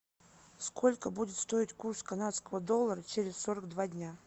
сколько будет стоить курс канадского доллара через сорок два дня